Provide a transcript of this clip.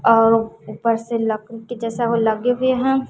और उपर से लकड़ी के जैसा वो लगे है।